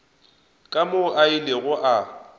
ka moo a ilego a